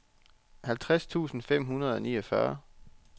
halvtreds tusind fem hundrede og niogfyrre